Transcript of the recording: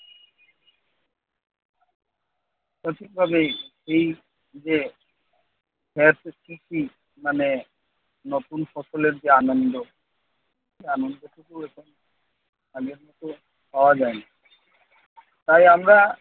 সঠিকভাবেই এই যে খেত মানে নতুন ফসলের যে আনন্দ সে আনন্দটুকু এখন আগের মতো পাওয়া যায় না। তাই আমরা